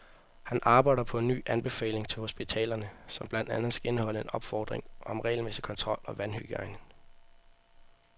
Han arbejder på en ny anbefaling til hospitalerne, som blandt andet skal indeholde en opfordring om regelmæssig kontrol af vandhygiejnen.